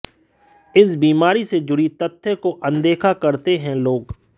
इस बीमारी से जुड़ी तथ्य को अनदेखा करते हैं लोग